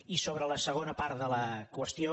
i sobre la segona part de la qüestió